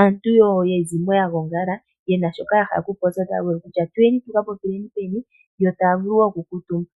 aantu yezimo yagongala yena shoka yahala okupopya otaya vulu okutya nayaye yakapopile pehala mpoka yo taya vulu woo oku kuutumba.